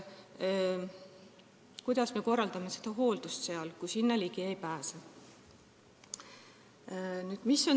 Kuidas me korraldame seal hooldust, kui sinna ligi ei pääse?